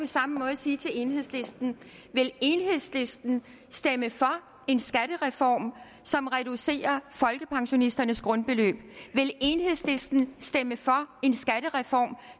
samme måde sige til enhedslisten vil enhedslisten stemme for en skattereform som reducerer folkepensionisternes grundbeløb vil enhedslisten stemme for en skattereform